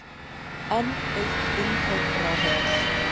Enn eitt vindhögg ráðherrans